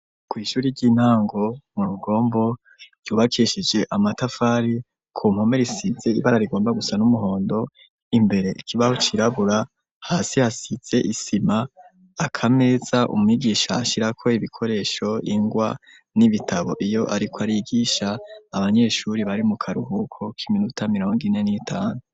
Kw'ishuri ry'intango mu rugombo ryubakishije amatafari ku npome risitse ibara rigomba gusa n'umuhondo imbere ikibaho kirirabura hasi hasize isima akameza umigisha ashira ko ibikoresho ingwa n'ibitabo iyo ariko arigisha abanyeshuri bari mu karuhuko k'iminota mirongo ine n'itanu.